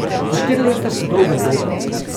A štiri leta so dolga doba.